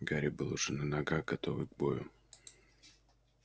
гарри был уже на ногах готовый к бою